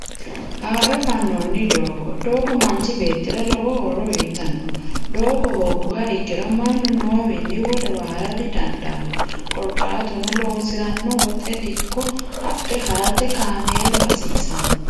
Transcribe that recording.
Haaro fa'nooni doogo, doogo manchi beetira lowo horo uyitano, doogo hooguha ikkiro manu noowinni wolewa hara didandano korikaatuno loosirino woxe diko adhe harate kaamelu hasisano